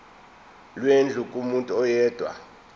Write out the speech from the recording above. lwendlu kumuntu oyedwa